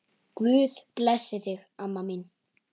Guð blessi þig, amma mín.